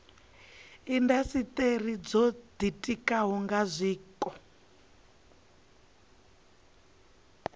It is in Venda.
indasiteri dzo ditikaho nga zwiko